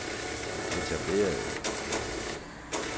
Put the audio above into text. etablerede